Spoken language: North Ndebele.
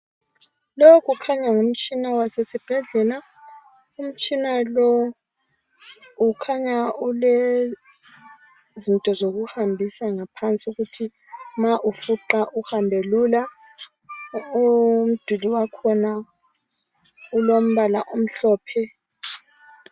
Lo kukhanya ngumtshina wasesibhedlela .Umtshina lo ukhanya ule zinto zokuhambisa ngaphansi .Ukuthi nxa ufuqa uhambe lula . Umduli wakhona ulombala omhlophe.